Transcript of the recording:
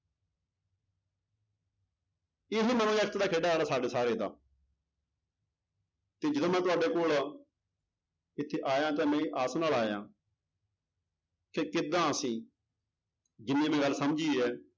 ਸਾਡੇ ਸਾਰੇ ਦਾ ਤੇ ਜਦੋਂ ਮੈਂ ਤੁਹਾਡੇ ਕੋਲ ਇੱਥੇ ਆਇਆ ਤਾਂ ਮੈਂ ਇਹ ਆਸ ਨਾਲ ਆਇਆਂ ਕਿ ਕਿੱਦਾਂ ਅਸੀਂ ਜਿੰਨੀ ਵੀ ਗੱਲ ਸਮਝੀ ਹੈ